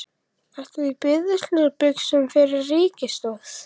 Ert þú á biðilsbuxunum fyrir ríkisaðstoð?